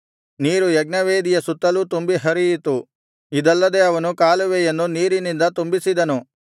ನೀರು ಯಜ್ಞವೇದಿಯ ಸುತ್ತಲೂ ತುಂಬಿ ಹರಿಯಿತು ಇದಲ್ಲದೆ ಅವನು ಕಾಲುವೆಯನ್ನು ನೀರಿನಿಂದ ತುಂಬಿಸಿದನು